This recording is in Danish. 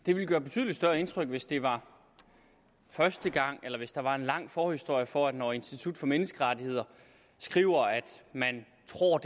det ville gøre betydelig større indtryk hvis det var første gang eller hvis der var en lang forhistorie for at når institut for menneskerettigheder skriver at man tror